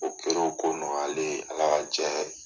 O kɛra o ko nɔgɔyalen ye Ala ka jɛ